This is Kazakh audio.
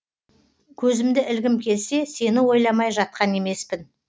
көзімді ілгім келсе сені ойламай жатқан емеспін